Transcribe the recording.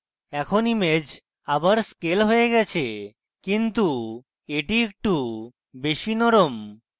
এখন image আবার scale হয়ে গেছে কিন্তু এটি একটু বেশী নরম